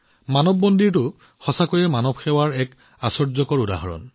মানৱ মন্দিৰ মানৱ সেৱাৰ এক আশ্চৰ্যকৰ উদাহৰণ